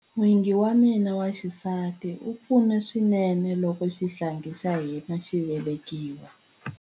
N'wingi wa mina wa xisati a pfuna swinene loko xihlangi xa hina xi velekiwa.